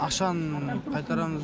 ақшаны қайтарамыз